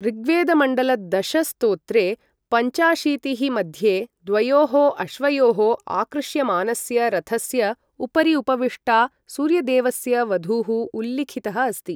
ऋग्वेदमण्डल दश, स्तोत्रे पञ्चाशीतिः मध्ये द्वयोः अश्वयोः आकृष्यमानस्य रथस्य उपरि उपविष्टा सूर्यदेवस्य वधूः उल्लिखितः अस्ति ।